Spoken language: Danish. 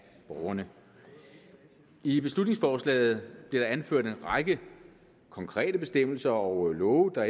borgerne i beslutningsforslaget der anført en række konkrete bestemmelser og love der